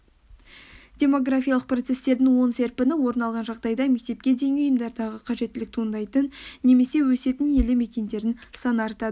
демографиялық процестердің оң серпіні орын алған жағдайда мектепке дейінгі ұйымдардағы қажеттілік туындайтын немесе өсетін елді мекендердің саны артады